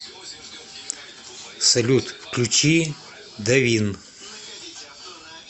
салют включи давин